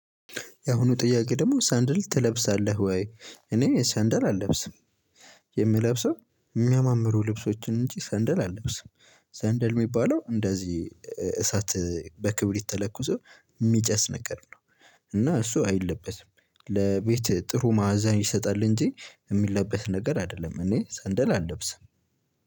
ያሁኑ ጥያቄ ደግሞ ሳንድል ትለብሳለህ ወይ? እኔ ሳንድል አለብስም። የምለብሰው እሚያማምሩ ልብሶችን እንጂ ሰንደል አለብስም። ሰንደል የሚባለው እንደዚህ እሳት በክብሪት ተለኩሶ የሚጨስ ነገር ነው። እና እሱ አይለበስም ለቤት ጥሩ ማዕዛ ይሰጣል እንጂ የሚለበስ ነገር አይደለም። እኔ ሰንደል አልለብስም።